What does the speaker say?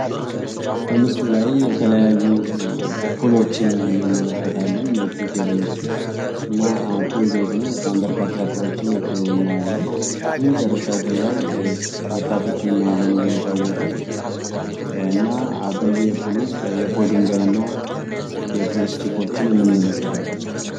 በምስሉ ላይ የተለያዩ ፑሎችን እንመለከታለን፤ የፒል ቴብሎችን። እና ፑል ቤት ነው፤ በጣም በርካታ ፑሎችን እናያለን። የመጨረሻው ፑል ላይ ወጣቶችን እናያለን እየተጫወቱ። እና በየፑሉ የፑል ድንጋይ እና የፑል እስቲኮችን እንመለከታለን።